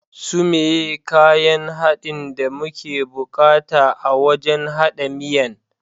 Su meye kayan haɗin da muke bukata a wajan haɗa miyan?